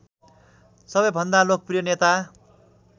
सबैभन्दा लोकप्रिय नेता